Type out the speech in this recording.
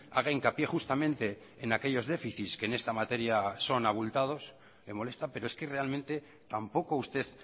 haga hincapié justamente en aquellos déficits que en esta materia son abultados le molesta pero es que realmente tampoco usted